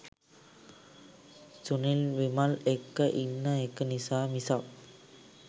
සුනිල් විමල් එක්ක ඉන්න එක නිසා මිසක්